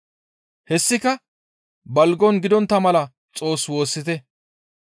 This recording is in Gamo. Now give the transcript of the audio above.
Hessika balgon gidontta mala Xoos woossite.